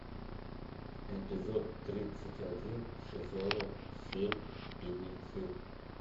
эпизод тридцать один сезона семь беглецы